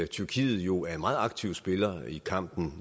tyrkiet jo er en meget aktiv spiller i kampen